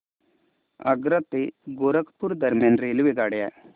आग्रा ते गोरखपुर दरम्यान रेल्वेगाड्या